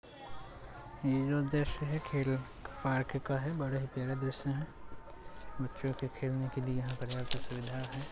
ये जो दृश्य है खेल पार्क का है बड़ा ही प्यारा दृश्य है। बच्चो के खेलने के लिए यहाँ प्रकार की सुविधा है।